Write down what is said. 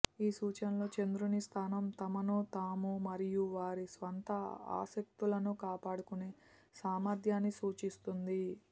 ఈ సూచనలో చంద్రుని స్థానం తమను తాము మరియు వారి స్వంత ఆసక్తులను కాపాడుకునే సామర్థ్యాన్ని సూచిస్తుంది